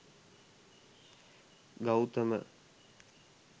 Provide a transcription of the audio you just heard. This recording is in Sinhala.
gautama